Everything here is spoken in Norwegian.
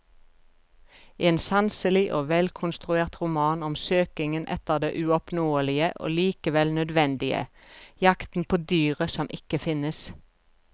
En sanselig og velkonstruert roman om søkingen etter det uoppnåelige og likevel nødvendige, jakten på dyret som ikke finnes.